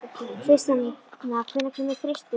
Tristana, hvenær kemur þristurinn?